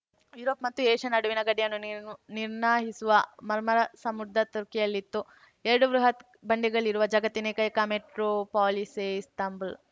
Europe ಮತ್ತು Asia ನಡುವಿನ ಗಡಿಯನ್ನು ನಿರ್ಣ್ ನಿರ್ಣಯಿಸುವ ಮರ್ಮರ ಸಮುದ್ರ ತುರ್ಕಿಯಲ್ಲಿತ್ತು ಎರಡು ಬೃಹತ್‌ ಬಂಡೆಗಳಿರುವ ಜಗತ್ತಿನ ಏಕೈಕ ಮೆಟ್ರೋಪಾಲಿಸೇ ಇಸ್ತಾಂಬುಲ್‌